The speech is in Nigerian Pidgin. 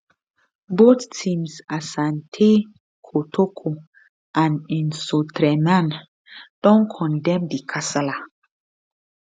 both teams asante kotoko and nsoatreman don condemn di kasala